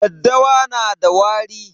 Daddawa na da wari.